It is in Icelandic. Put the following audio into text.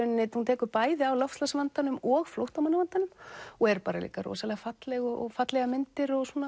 hún tekur bæði á loftslagsvandanum og flóttamannavandanum og er líka rosalega falleg og fallegar myndir og